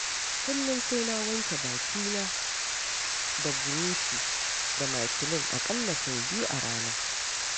Kullum sai na wanke bakina da buroshi da makilin a ƙalla sau biyu a rana.